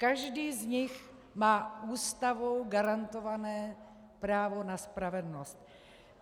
Každý z nich má Ústavou garantované právo na spravedlnost.